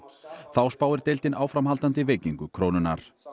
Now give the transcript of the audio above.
þá spáir deildin áframhaldandi veikingu krónunnar